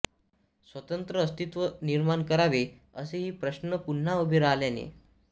स्वतंत्र अस्तित्व निर्माण करावे असेही प्रश्न पुन्हा उभे राहिल्याने